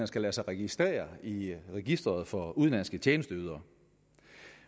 skal lade sig registrere i registeret for udenlandske tjenesteydere